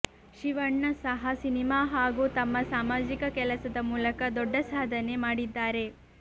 ಶಿವಣ್ಣ ಸಹ ಸಿನಿಮಾ ಹಾಗೂ ತಮ್ಮ ಸಾಮಾಜಿಕ ಕೆಲಸದ ಮೂಲಕ ದೊಡ್ಡ ಸಾಧನೆ ಮಾಡಿದ್ದಾರೆ